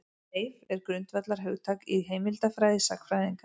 Leif er grundvallarhugtak í heimildafræði sagnfræðinga.